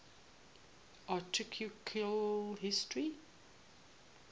architectural history